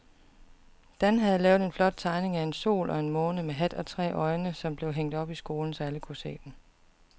Dan havde lavet en flot tegning af en sol og en måne med hat og tre øjne, som blev hængt op i skolen, så alle kunne se den.